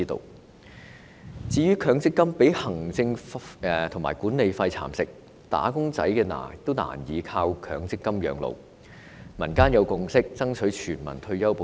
另一方面，強制性公積金計劃被行政費和管理費蠶食，"打工仔"難以靠強積金養老，民間有共識爭取全民退休保障。